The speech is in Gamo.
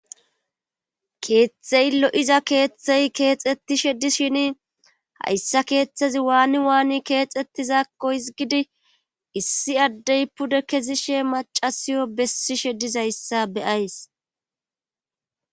keeththey lo7iza keeththey keexetishe dishin hayssa keeththezi waani waani keexetizakko hizgidi issi addey pude kezi she macasiyo bessishe dizayssa beyays